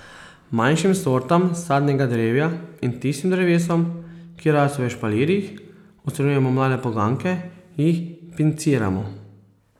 Manjšim sortam sadnega drevja in tistim drevesom, ki rastejo v špalirjih, odstranjujemo mlade poganke, jih pinciramo.